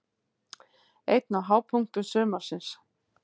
Einn af hápunktum sumarsins.